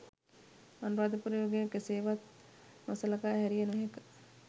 අනුරාධපුර යුගය කෙසේවත් නොසළකා හැරිය නොහැක.